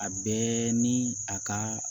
A bɛɛ ni a ka